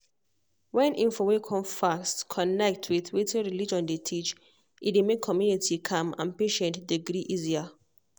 when info wey come fast connect with wetin religion dey teach e dey make community calm and patients dey gree easier.